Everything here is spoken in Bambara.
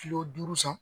Kilo duuru san